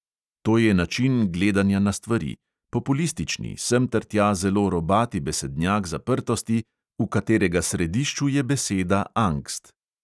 To je način gledanja na stvari: populistični, semtertja zelo robati besednjak zaprtosti, v katerega središču je beseda angst.